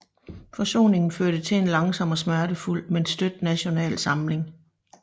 Forsoningen førte til en langsom og smertefuld men støt national samling